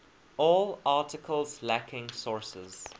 all articles lacking sources